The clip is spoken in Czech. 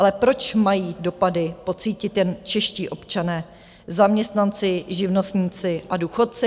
Ale proč mají dopady pocítit jen čeští občané, zaměstnanci, živnostníci a důchodci?